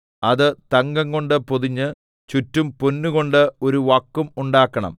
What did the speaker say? അത് തങ്കംകൊണ്ട് പൊതിഞ്ഞ് ചുറ്റും പൊന്നുകൊണ്ട് ഒരു വക്കും ഉണ്ടാക്കണം